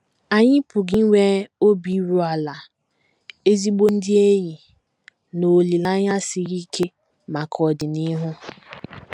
Anyị pụrụ inwe obi iru ala, ezigbo ndị enyi, na olileanya siri ike maka ọdịnihu.